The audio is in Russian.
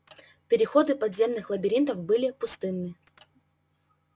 переходы подземных лабиринтов были пустынны